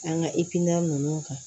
An ka ikanan ninnu kan